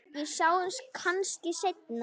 Við sjáumst kannski seinna.